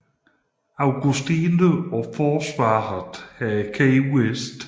Augustine og forsvaret af Key West